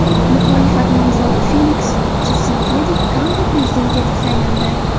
Muxolifat nomzodi Feliks Chisekedi Kongo prezidenti etib saylandi.